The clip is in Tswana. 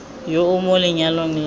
yo o mo lenyalong la